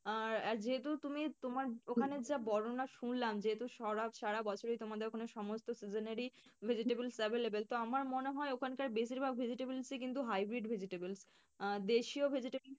আর যেহেতু তুমি তোমার ওখানের যে বর্ণনা শুনলাম যেহেতু সারা বছরই সমস্ত season এরই vegetables available তো আমার মনে হয় ওখানকার বেশিরভাগ vegetables ই কিন্তু hybrid vegetable আহ দেশিও vegetable